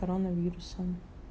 короновирусом